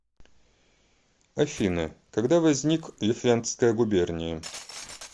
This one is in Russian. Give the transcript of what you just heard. афина когда возник лифляндская губерния